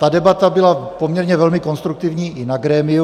Ta debata byla poměrně velmi konstruktivní i na grémiu.